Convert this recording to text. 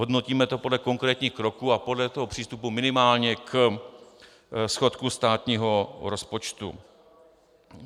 Hodnotíme to podle konkrétních kroků a podle toho přístupu minimálně k schodku státního rozpočtu.